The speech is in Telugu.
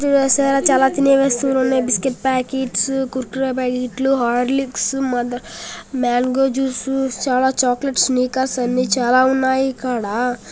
సార్ చాలా తినే వస్తువులు ఉన్నాయి. బిస్కెట్ ప్యాకెట్స్ కురుకురే ప్యాకెట్లు హార్లిక్స్ మదర్ మ్యాంగో జ్యూస్ లు చాలా చాక్లెట్స్ మీకా సార్ ఆ చాలా ఉన్నాయి ఇక్కడ.